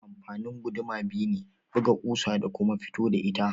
Amfanin guduma biyu ne, buga ƙusa da kuma fito da ita.